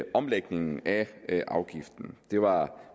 omlægningen af afgiften det var